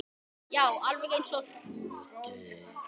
Já, alveg eins og hrútur.